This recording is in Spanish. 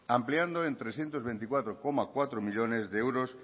ampliando en trescientos veinticuatro coma cuatro millónes de euros